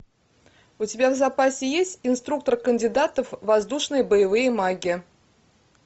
у тебя в запасе есть инструктор кандидатов воздушные боевые маги